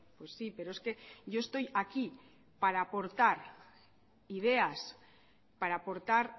pues sí pero es que yo estoy aquí para aportar ideas para aportar